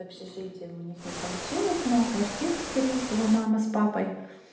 с общежитием у них не получилось но квартиру скорее всего мама с папой